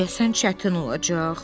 Deyəsən çətin olacaq.